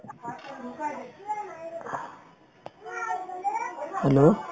hello